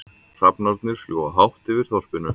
Hrafnarnir fljúga hátt yfir þorpinu.